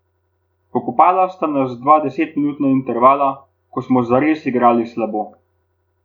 Pokopala sta nas dva desetminutna intervala, ko smo zares igrali slabo.